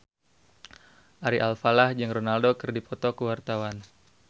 Ari Alfalah jeung Ronaldo keur dipoto ku wartawan